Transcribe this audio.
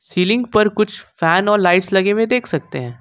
Ceiling पर कुछ fan और लाइट्स लगे हुए देख सकते हैं।